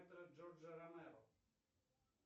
джордже ромеро